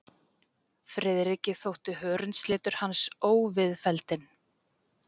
Friðriki þótti hörundslitur hans óviðfelldinn.